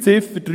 Ziffer 3